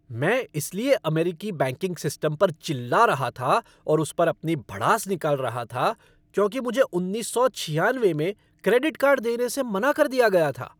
मैं इसलिए अमेरिकी बैंकिंग सिस्टम पर चिल्ला रहा था और उस पर अपनी भड़ास निकाल रहा था क्योंकि मुझे उन्नीस सौ छियानवे में क्रेडिट कार्ड देने से मना कर दिया गया था।